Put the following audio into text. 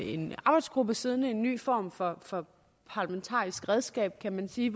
en arbejdsgruppe siddende en ny form for for parlamentarisk redskab kan man sige